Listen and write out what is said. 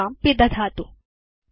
सञ्चिकां पिदधातु